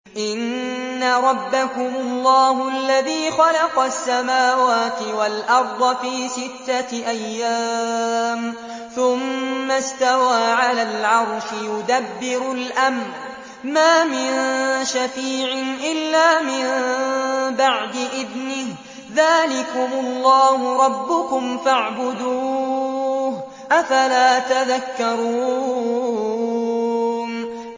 إِنَّ رَبَّكُمُ اللَّهُ الَّذِي خَلَقَ السَّمَاوَاتِ وَالْأَرْضَ فِي سِتَّةِ أَيَّامٍ ثُمَّ اسْتَوَىٰ عَلَى الْعَرْشِ ۖ يُدَبِّرُ الْأَمْرَ ۖ مَا مِن شَفِيعٍ إِلَّا مِن بَعْدِ إِذْنِهِ ۚ ذَٰلِكُمُ اللَّهُ رَبُّكُمْ فَاعْبُدُوهُ ۚ أَفَلَا تَذَكَّرُونَ